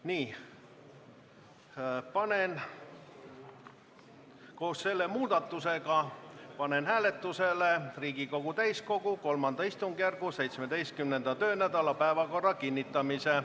Nii, koos selle muudatusega panen hääletusele Riigikogu täiskogu kolmanda istungjärgu 17. töönädala päevakorra kinnitamise.